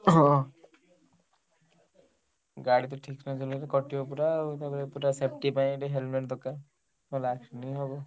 ହଁ। ଗାଡି ତ ଠିକ ନଚଳେଇଲେ କଟିବ ପୁରା ଆଉ ପୁରା safety ପାଇଁ ବି helmet ଦରକାର ନହେଲେ accident ହିଁ ହବ।